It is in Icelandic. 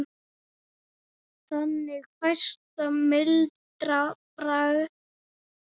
Þannig fæst mildara bragð.